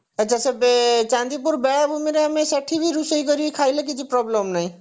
ଆଛା ସେବେ ଚାନ୍ଦିପୁର ବେଳାଭୂମିରେ ଆମେ ସେଠି ବି ରୋଷେଇ କରି ଖାଇଲେ କିଛି problem ନାହିଁ